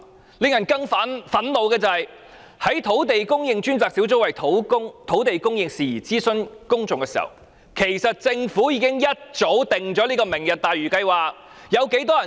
更令人憤怒的是，在專責小組為土地供應事宜諮詢公眾期間，政府原來已一早制訂"明日大嶼"計劃。